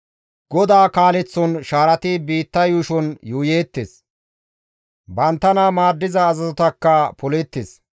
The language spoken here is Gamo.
Goda kaaleththon shaarati biitta yuushon yuuyeettes; banttana maaddiza azazotakka poleettes.